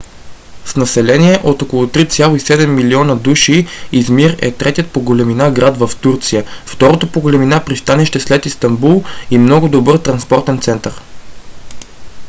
с население от около 3,7 милиона души измир е третият по големина град в турция второто по големина пристанище след истанбул и много добър транспортен център